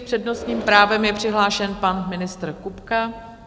S přednostním právem je přihlášen pan ministr Kupka.